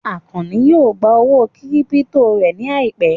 Àkànní yóò gbà owó kírípítò rẹ̀ ní àìpẹ́